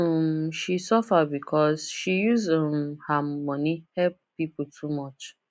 um she suffer because she use um her money help people too much